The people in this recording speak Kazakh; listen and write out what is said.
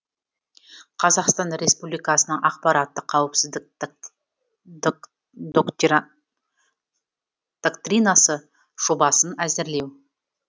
қазақстан республикасының ақпараттық қауіпсіздік доктринасы жобасын әзірлеу